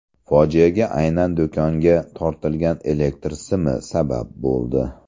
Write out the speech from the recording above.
Fojiaga aynan do‘konga tortilgan elektr simi sabab bo‘ldi.